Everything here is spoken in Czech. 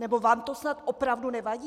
Nebo vám to snad opravdu nevadí?